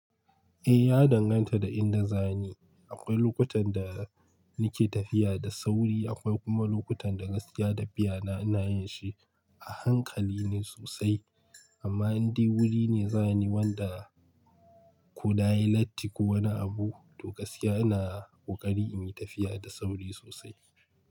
Eh, ya danganta da inda zani. Akwai lokutan da nake tafiya da sauri, akwai kuma lokutan da gaskiya tafiyana ina yin shi a hankali ne sosai. Amma in dai wuri ne zani wanda kona yi latti ko wani abu, to gaskiya ina ƙoƙari in yi tafiya da sauri sosai.